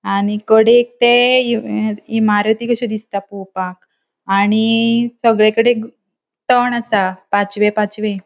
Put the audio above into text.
आणि कडेक ते इमारती कशे दिसता पोपाक आणि सगळेकडे तण आसा पाचवे पाचवे.